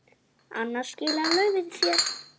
Annars skilar laufið sér.